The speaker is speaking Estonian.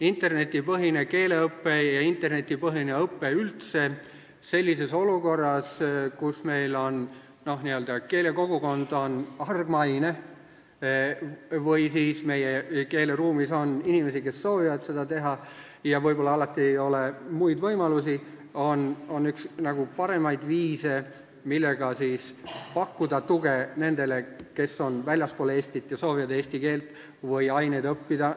Internetipõhine keeleõpe ja üldse internetipõhine õpe on sellises olukorras, kus meie keelekogukond on hargmaine või siis meie keeleruumis on inimesi, kes soovivad seda kasutada ja kellel ei ole muid võimalusi, üks parimaid viise, millega pakkuda tuge nendele, kes on väljaspool Eestit ja soovivad eesti keelt või aineid õppida.